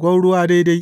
gwauruwa daidai.